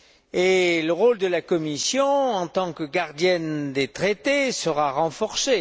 Et le rôle de la Commission, en tant que gardienne des Traités, sera renforcé.